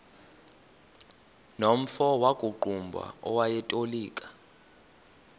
nomfo wakuqumbu owayetolika